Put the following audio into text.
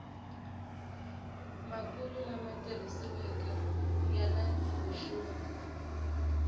makulu lama tirhisiweke yani vuxungi